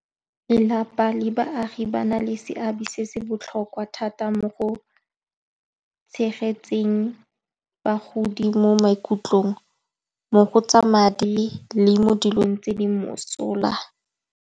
Lelapa le baagi ba na le seabe se se botlhokwa thata mo go tshegetseng bagodi mo maikutlong mo go tsa madi le mo dilong tse di mosola.